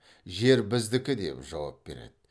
жер біздікі деп жауап береді